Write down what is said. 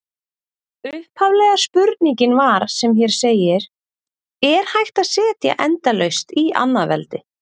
Upphaflega spurningin var sem hér segir: Er hægt að setja endalaust í annað veldi?